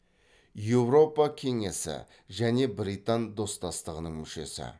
еуропа кеңесі және британ достастығының мүшесі